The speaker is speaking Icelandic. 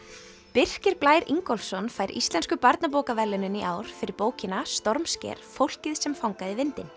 Birkir Blær Ingólfsson fær Íslensku barnabókaverðlaunin í ár fyrir bókina stormsker fólkið sem fangaði vindinn